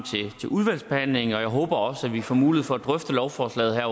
til udvalgsbehandlingen og jeg håber også at vi får mulighed for at drøfte lovforslaget